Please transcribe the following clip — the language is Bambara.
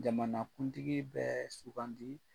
Jamanakuntigi bɛɛ sugandi.